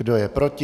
Kdo je proti?